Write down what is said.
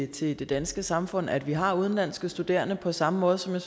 til det danske samfund at vi har udenlandske studerende på samme måde som jeg